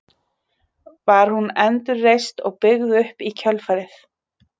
Var hún endurreist og byggð upp í kjölfarið.